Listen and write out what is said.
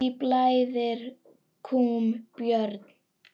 Hví blæðir kúm, Björn?